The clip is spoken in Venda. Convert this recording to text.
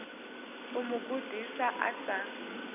u mu gudisa a sa